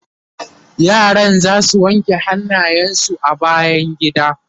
yaran zasu wanke hannayen su a bayangida